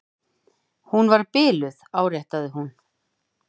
Hún var biluð, áréttaði hún.